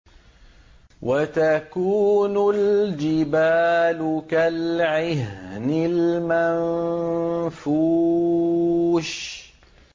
وَتَكُونُ الْجِبَالُ كَالْعِهْنِ الْمَنفُوشِ